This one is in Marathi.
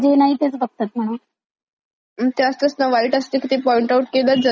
ते असतच ना वाईट असत ते पॉइंट आउट केलच जात आधीच. हम्म हम्म मग कितीही चांगल दाखवा तुम्ही,